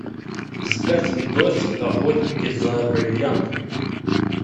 искать видосик охотники за бриллиантами